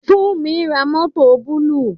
Funmi ra mọ́tọ̀ búlúù.